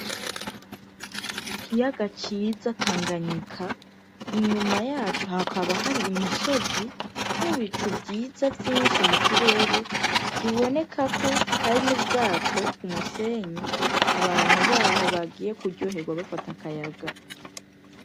Igiyaga ciza tanganyika inyuma yacu hakaba hari imisozi n'ibicu vyiza vyinshi mu kirere bibonekako hari n'ubwato ku musenyi abantu baho bagiye kuryoherwa bafata akayaga.